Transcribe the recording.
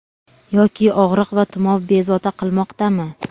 Yoki og‘riq va tumov bezovta qilmoqdami.